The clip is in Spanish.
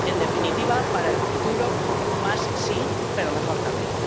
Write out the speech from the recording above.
En definitiva, para el futuro, más, sí, pero mejor, también.